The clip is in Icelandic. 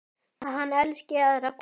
Að hann elski aðra konu.